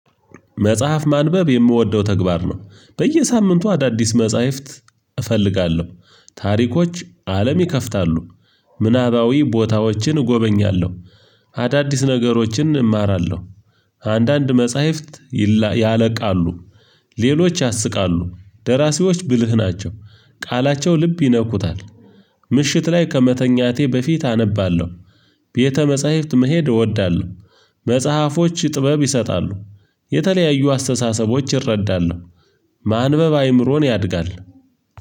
መጽሐፍ ማንበብ የምወደው ተግባር ነው በየሳምንቱ አዳዲስ መጽሐፍት እፈልጋለሁ። ታሪኮች አለም ይከፍታሉ። ምናባዊ ቦታዎችን እጎበኛለሁ። አዳዲስ ነገሮችን እማራለሁ። አንዳንድ መጽሐፍት ያለቃሉ። ሌሎች ያስቃሉ ደራሲዎች ብልህ ናቸው። ቃላቸው ልብ ይነኩታል። ምሽት ላይ ከመተኛቴ በፊት አነባለሁ። ቤተ መጽሐፍት መሄድ እወዳለሁ። መጽሐፎች ጥበብ ይሰጣሉ። የተለያዩ አስተሳሰቦች ይረዳሉ። ማንበብ አይምሮን ያድጋል።